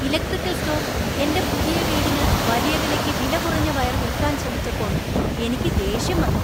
Electrical store എന്‍റെ പുതിയ വീടിന് വലിയ വിലയ്ക്ക് വിലകുറഞ്ഞ വയർ വിൽക്കാൻ ശ്രമിച്ചപ്പോൾ എനിക്ക് ദേഷ്യം വന്നു.